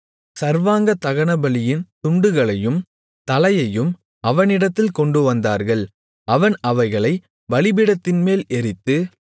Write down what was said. சர்வாங்கதகனபலியின் துண்டுகளையும் தலையையும் அவனிடத்தில் கொண்டுவந்தார்கள் அவன் அவைகளைப் பலிபீடத்தின்மேல் எரித்து